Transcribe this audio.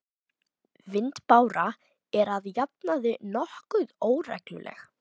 Vindbára er að jafnaði nokkuð óregluleg.